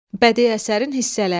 Bədii əsərin hissələri.